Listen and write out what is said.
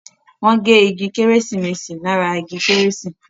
Wón gé ìgi Kérésìmesì lára ìgi kérésì.